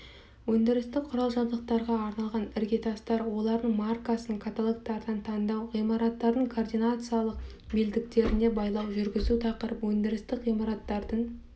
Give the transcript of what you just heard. өндірістік құрал-жабдықтарға арналған іргетастар олардың маркасын каталогтардан таңдау ғимараттардың координациялық белдіктеріне байлау жүргізу тақырып өндірістік ғимараттардың